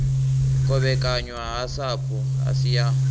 kovhekanywa ha sapu asi ya